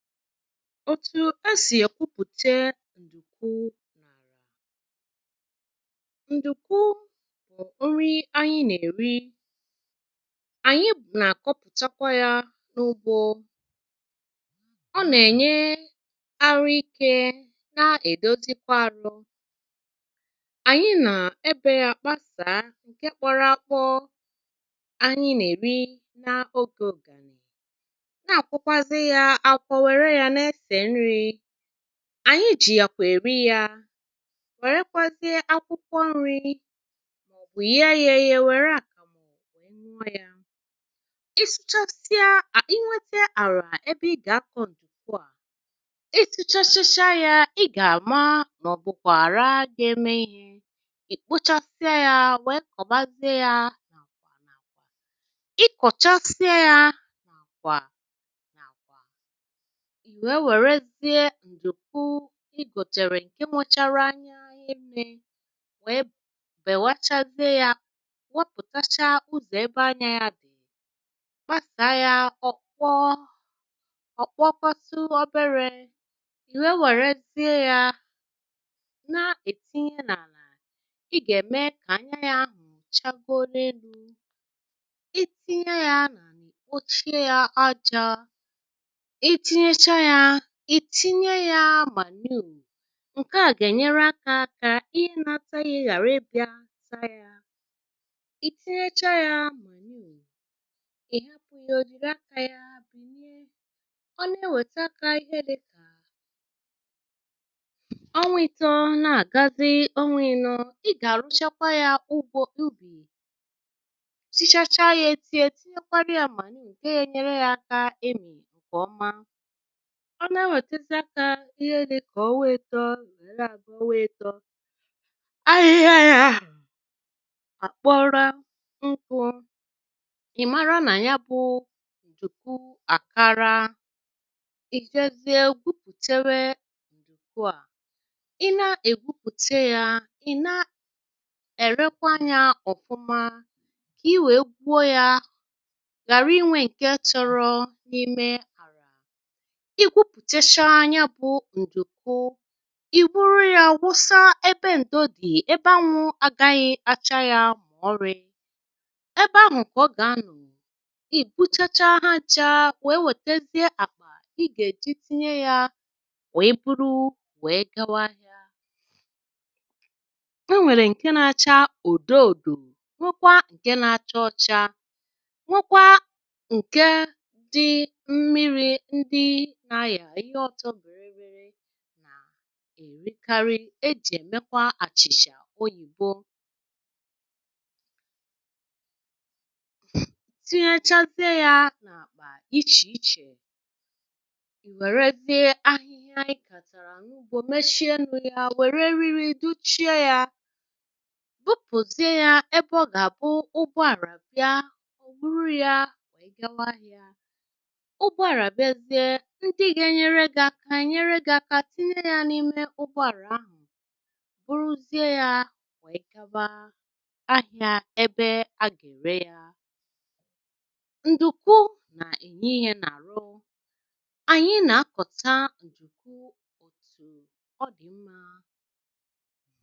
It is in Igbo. òtù esì èkwupùte ǹdùku n'ala, ǹdùku bụ̀ nrị anyị nà-èri ànyị nà-àkọpụ̀chakwa ya n’ugbȯ ọ nà-ènye arụ ikė nà-èdozikwa ȧrụ ànyị nà ebe ya kpasàa ǹke kpọrọ akpọ ànyị na-eri n'oge ụ̀gànị̀ nà-àkwọkwazị ya akwọ were ya na-ese ri, anyi jì yàkwà èri yȧ wèrekwazịe akwụkwọ nri̇ ma ọ bụ̀ yee yȧ yee wère àkàmu wee nuọ ya. ị sụchasịa a inwėtė àrà ebe ị gà-akọ ǹdùku a ị sụchachasịa yȧ ị gà-àma màọ̀bụ̀kwà àra ga-eme ihe, ì kpochasịa yȧ wèe kọ̀bazịe yȧ, ị kọ̀chasịa yȧ ì nwèe wèrezie ǹdùku igòchàrà ǹke mụchàrà anya ihe mmė wèe bèwàchazie yȧ wopùtacha uzò ebe anya yȧ dì kpasàa yȧ ọ̀kpọ ọ̀kpọkwasu obere ì nwèe wèrezie yȧ na-ètinye n’àlà ị gà-ème kà anya yȧ ahụ̀ chagoro elu̇ ị tinye yȧ nà àlà kpòchie yȧ ajȧ ìtinyecha yȧ itinye ya manure ǹke à gà-ènyere akȧ kȧ ihe nȧtȧ ihe ghàra ịbị̇ȧ ta yȧ, ìtinyechaa yȧ manure ị̀hapụ̀ ya òjìre akȧ yȧ bìnyie ọ nà-ewète akȧ ihe dika ọnwa ito na-agazi onwa ino, ị gà-àrụchakwa yȧ ugbȯ ubi sichacha ya etinyè tinyekwara yȧ manure ǹke ga ènyere yȧ aka emì ǹkè ọma, ọ na-enwėtėzị aka ihe dikà ọnwa ito wee na-aga ọnwa ito, ahịhịa ya àkpọrọ nkuù ị̀ mara nà ya bụ ndùku àkara, ì jezie gwupùtewe ǹduku à, ị na-ègwupùte ya ị̀ na-erekwa ya ọ̀fụma ka i wèe gwuo ya ghàra inwė ǹke chọrọ n’ime àrà, igwupùtecha ya bú ṅ̀dùku ì wuru yȧ wụsa ebe ǹdo dị̀ ebe anwụ̇ aganyị̇ acha yȧ mọ̀ọrị ebe ahụ̀ ka ọ gà-anọ̀ ị̀ guchacha ha ncha wèe wètezie àkpà ị gà-èji tinye yȧ wèe buru wèe gawa áhiá. E nwèrè ǹke na-acha òdò òdò nwekwa ǹke na-acha ọcha nwekwa ǹke dị mmiri ndị nà aya ihe oto bịrị bịrị na èrikarị ejì èmekwa àchìchà oyìbo tinyėchaziė ya na-akpa ichè ichè ị wéré zie ahịhịa ị kàtàrà n'ugbo mechie ọnụ ya wéré elile duchie ya, bupuzie ya ebe ọ ga-abu ụgbọ ala bịa ọ bụrụ ya wee gawa áhiá. Ụgbọ ala bịa zie ndị ga enyere gị aka enyere gị aka tinye ya n'ime ụgbọ ala ahụ bụrụzie ya wee gawa ahịa ebe a gà-ère yȧ. ǹdùku nà-ènye ihe n’àrụ, ànyị nà-akọ̀ta ǹdùku ọ̀tù ọ dị̀ mmȧ.